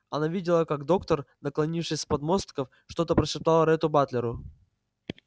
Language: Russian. она видела как доктор наклонившись с подмостков что-то прошептал ретту батлеру